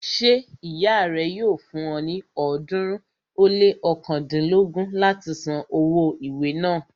Ṣé ìyá rẹ yóò fún ọ ní ọ̀ọ́dúnrún ó lé ọ̀kándínlógún láti san owó ìwé náà